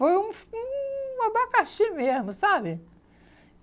Foi um um abacaxi mesmo, sabe?